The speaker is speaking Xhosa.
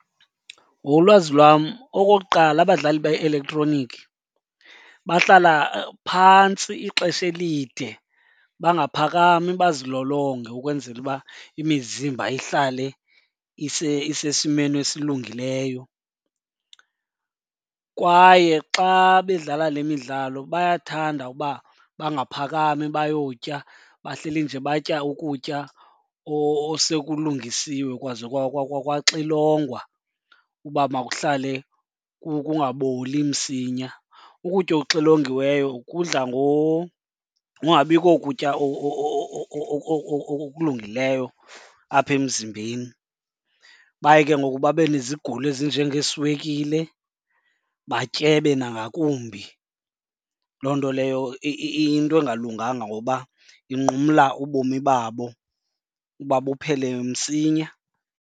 Ngokolwazi lwam, okokuqala abadlali be-elektroniki bahlala phantsi ixesha elide bangaphakami bazilolonge ukwenzela uba imizimba ihlale isesimeni esilungileyo. Kwaye xa bedlala le midlalo bayathanda uba bangaphakami bayotya, bahleli nje batya ukutya osekulungisiwe kwaze kwaxilongwa uba makuhlale kungaboli msinya. Ukutya okuxilongiweyo kudla ngokungabikho kutya okulungileyo apha emzimbeni. Baye ke ngoku babe nezigulo ezinjengeeswekile batyebe nangakumbi. Loo nto leyo iyinto engalunganga ngoba inqumla ubomi babo uba buphele msinya.